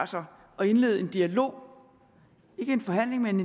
sig at indlede en dialog ikke en forhandling men